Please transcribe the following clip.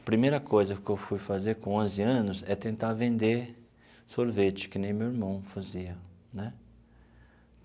A primeira coisa que eu fui fazer com onze anos é tentar vender sorvete, que nem meu irmão fazia né.